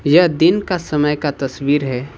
यह दिन का समय का तस्वीर है।